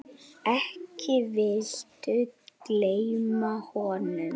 Ekki viltu gleyma honum?